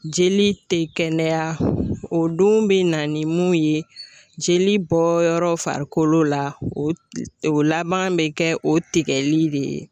Jeli tɛ kɛnɛya o dun bɛ na ni mun ye, jeli bɔ yɔrɔ farikolo la o o laban bɛ kɛ o tigɛli de ye .